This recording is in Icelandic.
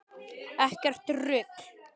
Ekkert rugl.